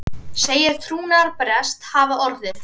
Segir trúnaðarbrest hafa orðið